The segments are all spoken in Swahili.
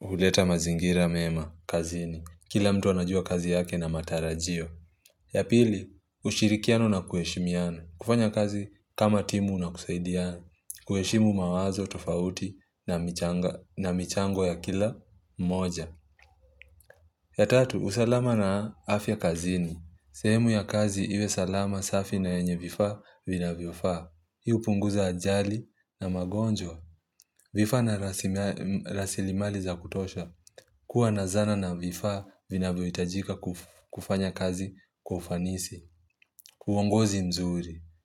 huleta mazingira mema kazini. Kila mtu anajua kazi yake na matarajio. Ya pili, ushirikiano na kueshimiana. Kufanya kazi kama timu na kusaidiana. Kuheshimu mawazo tofauti na michango ya kila moja ya tatu, usalama na afya kazini sehemu ya kazi iwe salama safi na yenye vifa vinavyofaa Hii hupunguza ajali na magonjwa vifaa na rasilimali za kutosha kuwa na zana na vifaa vina vyohitajika kufanya kazi kwa ufanisi uongozi mzur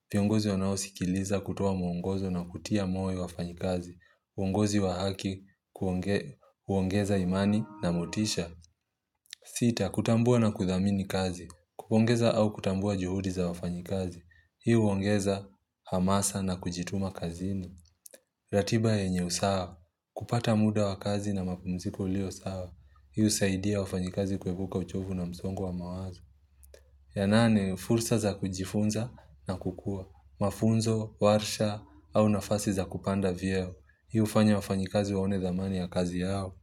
iviongozi wanaosikiliza kutoa mwongozo na kutia moyo wafanyi kazi uongozi wa haki, huongeza imani na motisha Sita, kutambua na kuthamini kazi kupongeza au kutambua juhudi za wafanyikazi Hii huongeza hamasa na kujituma kazini ratiba yenye usawa kupata muda wakazi na mapumziko ulio sawa Hii husaidia wafanyikazi kuepuka uchovu na msongo wa mawazo ya nane, fursa za kujifunza na kukua Mafunzo, warsha au nafasi za kupanda vyeo Hii hufanya wafanyikazi waone thamani ya kazi yao.